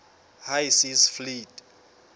high seas fleet